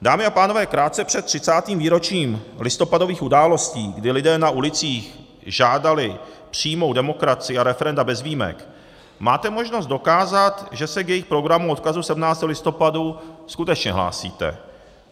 Dámy a pánové, krátce před 30. výročím listopadových událostí, kdy lidé na ulicích žádali přímou demokracii a referenda bez výjimek, máte možnost dokázat, že se k jejich programu odkazu 17. listopadu skutečně hlásíte.